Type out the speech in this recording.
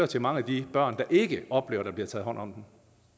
til mange af de børn der ikke oplever at der bliver taget hånd om